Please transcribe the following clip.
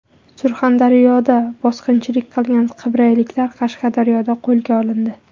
Surxondaryoda bosqinchilik qilgan qibrayliklar Qashqadaryoda qo‘lga olindi.